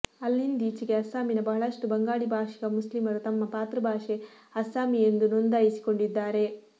ಅಲ್ಲಿಂದೀಚೆಗೆ ಅಸ್ಸಾಮಿನ ಬಹಳಷ್ಟು ಬಂಗಾಳಿ ಭಾಷಿಕ ಮುಸ್ಲಿಮರು ತಮ್ಮ ಮಾತೃಭಾಷೆ ಅಸ್ಸಾಮೀ ಎಂದು ನೋಂದಾಯಿಸಿಕೊಂಡಿದ್ದಾರೆ